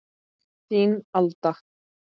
Þín, Alda.